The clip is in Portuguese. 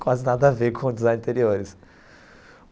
Quase nada a ver com o Design de Interiores.